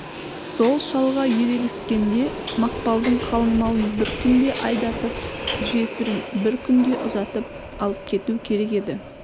сол шалға ерегіскенде мақпалдың қалыңмалын бір күнде айдатып жесірін бір күнге ұзатып алып кету керек еді